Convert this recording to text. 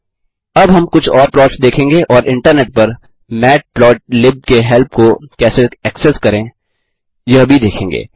अब हम कुछ और प्लॉट्स देखेंगे और इंटरनेट पर मैटप्लोटलिब के हेल्प को कैसे एक्सेस करें यह भी देखेंगे